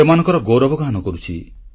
ସେମାନଙ୍କର ଗୌରବ ଗାନ କରୁଛି